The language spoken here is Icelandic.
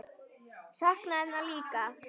Sakna hennar líka.